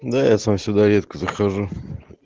да я сам сюда редко захожу